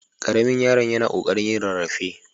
Ƙaramin yaron yana ƙoƙarin yin rarrafe.